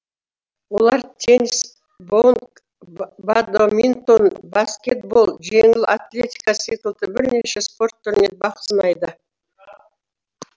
олар теннис боулинг бадминтон баскетбол жеңіл атлетика секілді бірнеше спорт түрінен бақ сынайды